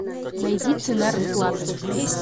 найди цена расплаты